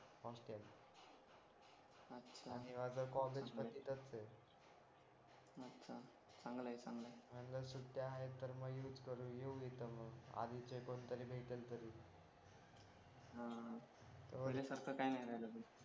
अर्ध कॉलेजमध्येच असते अच्छा चांगलय चांगलय अन् जर सुट्टी आहेत तर youth करून येऊ इथे मग आधीचे कोणीतरी भेटेल तरी आ पहिले सारखं काही नाही राहिल रे